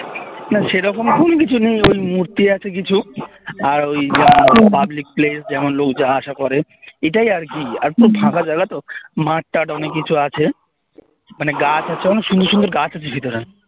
না সেরকম কোনো কিছু নেই ওই মূর্তি আছে কিছু আর ওই public place যেমন লোক যাওয়া আসা করে এটাই আরকি আর খুব ফাঁকা জায়গা তো মাঠ তাথ অনেক কিছু আছে মানে গাছ আছে অনেক সুন্দর সুন্দর গাছ আছে ভিতরে